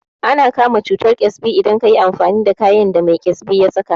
Ana kama cutar ƙyasbi idan kayi amfani da kayan da mai ƙyasbi ya saka